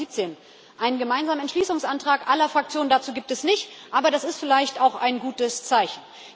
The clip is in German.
2017. Einen gemeinsamen Entschließungsantrag aller Fraktionen dazu gibt es nicht, aber das ist vielleicht auch ein gutes Zeichen.